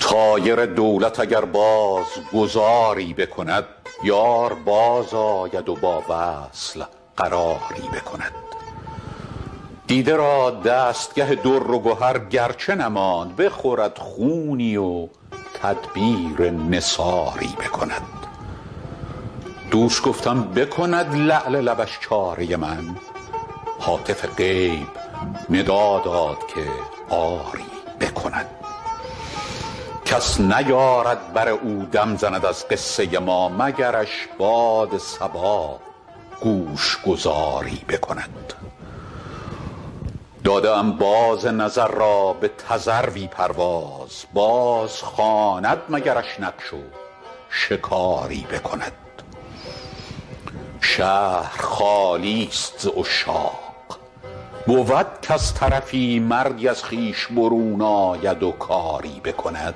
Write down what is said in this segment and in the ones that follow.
طایر دولت اگر باز گذاری بکند یار بازآید و با وصل قراری بکند دیده را دستگه در و گهر گر چه نماند بخورد خونی و تدبیر نثاری بکند دوش گفتم بکند لعل لبش چاره من هاتف غیب ندا داد که آری بکند کس نیارد بر او دم زند از قصه ما مگرش باد صبا گوش گذاری بکند داده ام باز نظر را به تذروی پرواز بازخواند مگرش نقش و شکاری بکند شهر خالی ست ز عشاق بود کز طرفی مردی از خویش برون آید و کاری بکند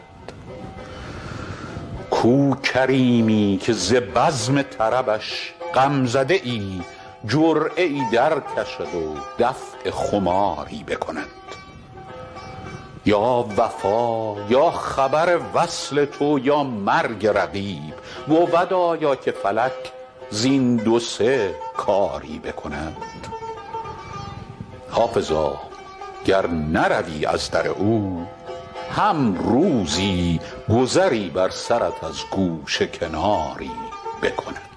کو کریمی که ز بزم طربش غم زده ای جرعه ای درکشد و دفع خماری بکند یا وفا یا خبر وصل تو یا مرگ رقیب بود آیا که فلک زین دو سه کاری بکند حافظا گر نروی از در او هم روزی گذری بر سرت از گوشه کناری بکند